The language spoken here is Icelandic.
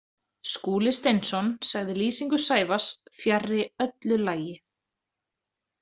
Skúli Steinsson sagði lýsingu Sævars fjarri öllu lagi.